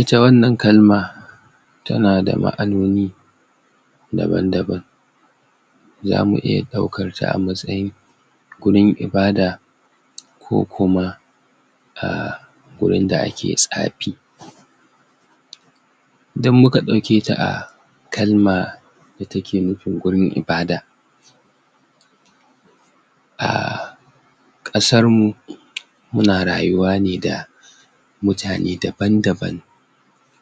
Ita wannan kalma tana da ma'anoni daban-daban, zamu iya ɗaukarta a matsayin gurin ibada, ko kuma ahh wurin da ake tsafi. Idan muka ɗauke a kalma, wadda take nufin gurin ibada, ahh ƙasarmu muna rayuwa ne da mutane daban-daban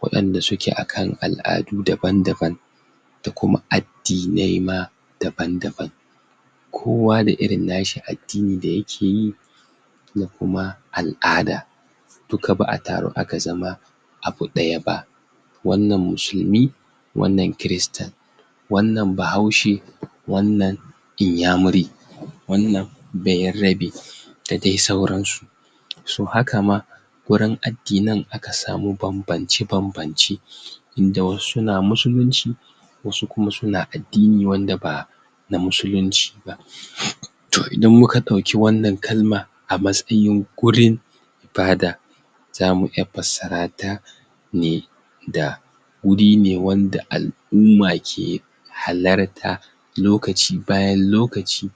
waɗanda suke akan al'adu daban-daban da kuma adinai ma dabam-dabam, kowa da irin nashi addinin da yake yi da kuma al'ada duka ba'a taru aka zama abu ɗaya ba. Wannan musulmi, wannan Kirista, wannan bahaushe, wannnan inyamuri, wannan bayarabe, da dai sauransu. So haka ma gurin addinin akan samu bambamce-bambamce, inda wasu na Musulunci, wasu kuma suna addini wanda ba na Musulunci ba. Top idan muka ɗauki wannan kalma a matsayin a matsayin gurin ibada za mu zamu iya fassarata ne da wuri ne wanda al'umma ke, halarta lokaci bayan lokaci,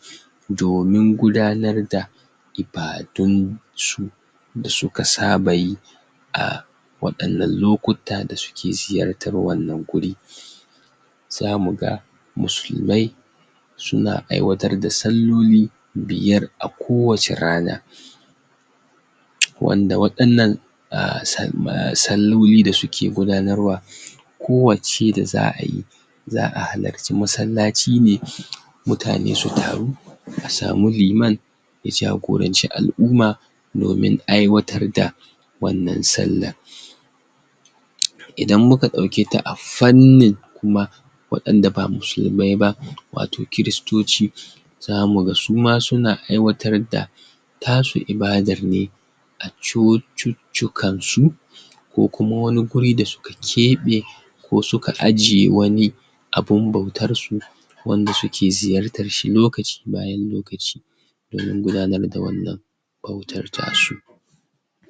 domin gudanar da ibadun su da suka saba yi a waɗannan lokuta da suke ziyartarwannan guri. Zamuga Musulmai, suna aiwatar da salloli, biyar a kowacce rana, wanda waɗannan aahhh salloli da suke gudanarwa, kowacce da za'ayi za'a halarci masallaci ne mutane su taru, a samu liman ya jagoranci al'umma, domin aiwatar da wannan Sallar. Idan muka ɗauketa a fannin ma waɗanda ba Musulmai ba wato Kiristoci, zamu ga suma suma aiwatar da tasu ibadar ne a Cociccikan su ko kuma wani guri da suka keɓe ko suka ajiye wani abun bautar su wanda suke ziyartarshi lokaci bayan lokaci domin gudanar da wannan bautar ta su.